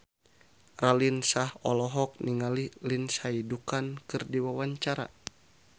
Raline Shah olohok ningali Lindsay Ducan keur diwawancara